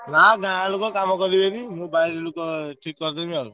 ନାଁ ଗାଁ ଲୋକ କାମ କରିବେନି ।